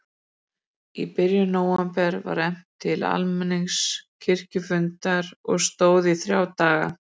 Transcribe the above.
Í byrjun nóvember var efnt til almenns kirkjufundar og stóð í þrjá daga.